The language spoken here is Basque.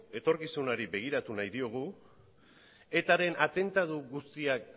etorkizunari begiratu nahi diogu eta ren atentatu guztiak